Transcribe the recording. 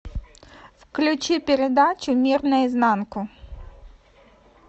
включи передачу мир наизнанку